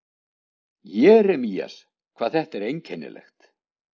Jeremías, hvað þetta er einkennilegt.